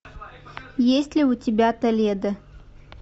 есть ли у тебя толедо